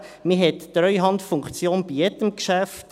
Man hat die Treuhandfunktion bei jedem Geschäft.